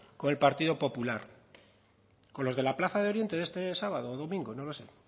con el partido popular con los de la plaza de oriente de este sábado o domingo no lo sé